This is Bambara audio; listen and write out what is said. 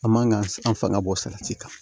An man ka an fanga bɔ salati kan